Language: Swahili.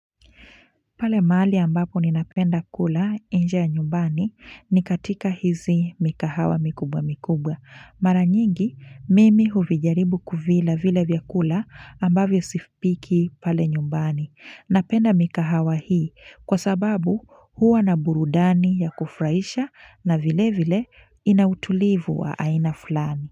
Pale mahali ambapo ninapenda kula inje ya nyumbani ni katika hizi mikahawa mikubwa mikubwa. Maranyingi, mimi huvijaribu kuvila vile vyakula ambavyo sipiki pale nyumbani. Napenda mikahawa hii kwa sababu huwa na burudani ya kufurahisha na vile vile inautulivu wa aina fulani.